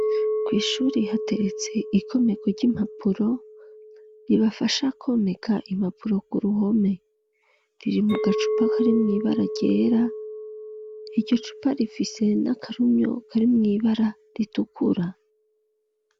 Kw'ishure hateretse ikomeko ry'impapuro ribafasha komeka impapuro ku ruhome riri mu gacupa kari mu ibara ryera iryo cupa rifise n'akarumyo kari mw'ibara ritukura.